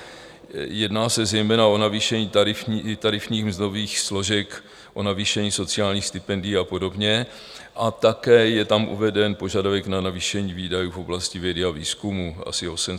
Jedná se zejména o navýšení tarifních mzdových složek, o navýšení sociálních stipendií a podobně a také je tam uveden požadavek na navýšení výdajů v oblasti vědy a výzkumu asi 862 milionů.